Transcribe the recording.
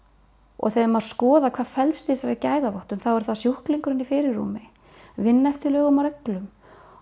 og þegar maður skoðar hvað felst í þessari gæðavottun þá er það sjúklingurinn í fyrirrúmi vinna eftir lögum og reglum